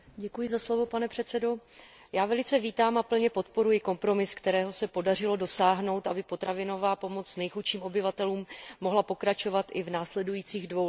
Pane předsedající, já velice vítám a plně podporuji kompromis, kterého se podařilo dosáhnout, aby potravinová pomoc nejchudším obyvatelům mohla pokračovat i v následujících dvou letech.